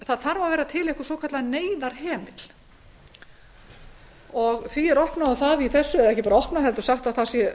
það þarf að vera til svokallaður neyðarhemill því er opnað á það hér og ekki bara opnað heldur sagt að bráðnauðsynlegt sé